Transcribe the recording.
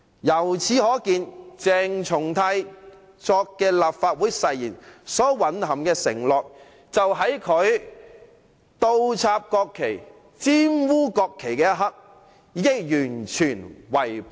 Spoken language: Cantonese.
由此可見，鄭松泰所作的立法會誓言所蘊含的承諾，就在他倒插和玷污國旗的一刻，被他完全違背了。